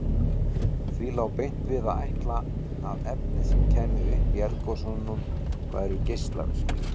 Því lá beint við að ætla að efnin sem kæmu upp í eldgosum væru geislavirk.